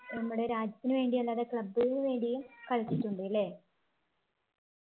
നമ്മുടെ രാജ്യത്തിനുവേണ്ടി അല്ലാതെ club വേണ്ടിയും കളിച്ചിട്ടുണ്ട് അല്ലെ